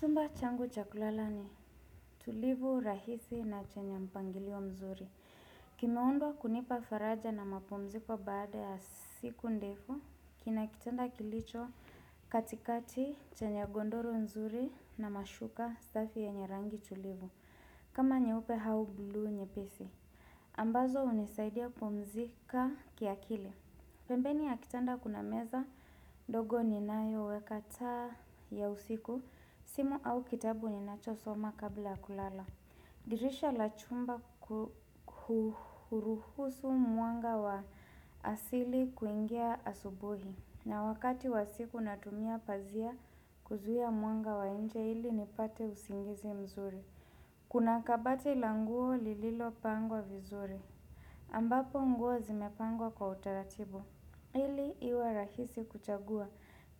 Chumba changu chakulala ni tulivu rahisi na chenye mpangilio mzuri. Kimeundwa kunipa faraja na mapumziko baada ya siku ndefu, kinakitanda kilicho katikati chenye gondoro nzuri na mashuka safi yenye rangi tulivu. Kama nyeupe au bluu nyepesi. Ambazo hunisaidia kupumzika kiakili pembeni ya kitanda kuna meza, ndogo ni nayo weka taa ya usiku, simu au kitabu ni nacho soma kabla ya kulala. Dirisha la chumba huruhusu mwanga wa asili kuingia asubuhi. Na wakati wa usiku natumia pazia kuzuia mwanga wa nje ili nipate usingizi mzuri. Kuna kabati la nguo lililo pangwa vizuri. Ambapo nguo zimepangwa kwa utaratibu. Ili iwe rahisi kuchagua.